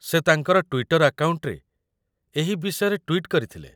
ସେ ତାଙ୍କର ଟ୍ୱିଟର୍ ଆକାଉଣ୍ଟରେ ଏହି ବିଷୟରେ ଟ୍ୱିଟ୍ କରିଥିଲେ